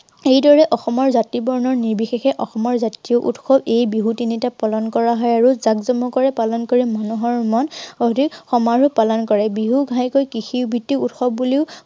সেই দৰে অসমৰ জাতি বৰ্ণ নিৰ্বিশেষে অসমৰ জাতীয় উৎসৱ এই বিহু তিনিটাক পালন কৰা হয় আৰু জাকজমক কৰি পালন কৰি মানুহৰ মন অধিক কৰে। বিহু ঘাইকৈ কৃষি ভিত্তিক উৎসৱ বুলিও